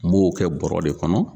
N m'o kɛ bɔɔrɔ de kɔnɔ.